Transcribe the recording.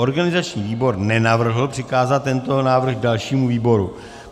Organizační výbor nenavrhl přikázat tento návrh dalšímu výboru.